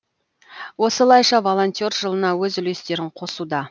осылайша волонтер жылына өз үлестерін қосуда